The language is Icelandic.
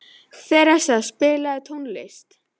Theresa, spilaðu tónlist.